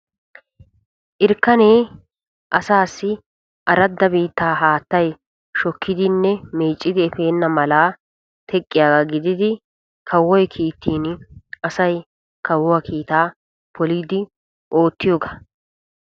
Irkkanee asaassi aradda biittaa haattay meeccidinne shokkiddi eppena mala teqqiyaaga gididi kawoy kiittin asay kawuwaa kiitaa polidi oottiyooga.